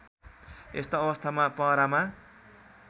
यस्तो अवस्थामा पहरामा